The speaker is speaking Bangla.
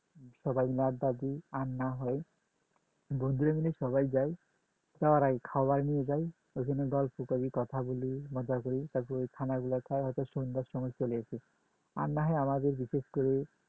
সবাই আড্ডা দিই আর আর না হয় বন্ধুরা মিলে সবাই যাই যাবার আগে খাবার নিয়ে যায় ঐখানে গল্প করি কথা বলি মজা করি তারপরে খানা গুলা খাই সন্ধ্যার সময় চলে আসি আর না হয় আমাদের বিশেষ করে